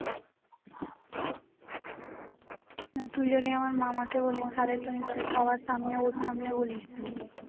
তুই যদি আমার মামাকেও বলিস তাহলে তুই সবার সামনে তার ওর বলিস